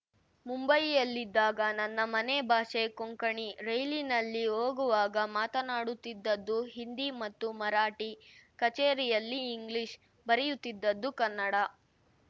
ಮುಂಬಯಿಯಲ್ಲಿದ್ದಾಗ ನನ್ನ ಮನೆ ಭಾಷೆ ಕೊಂಕಣಿ ರೈಲಿನಲ್ಲಿ ಹೋಗುವಾಗ ಮಾತಾಡುತ್ತಿದ್ದದ್ದು ಹಿಂದಿ ಮತ್ತು ಮರಾಠಿ ಕಚೇರಿಯಲ್ಲಿ ಇಂಗ್ಲಿಷ್‌ ಬರೆಯುತ್ತಿದ್ದದ್ದು ಕನ್ನಡ